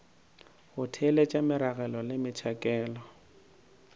go theeletša meragelo le metšhakelo